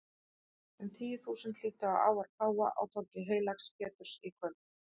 Um tíu þúsund hlýddu á ávarp páfa á torgi heilags Péturs í kvöld.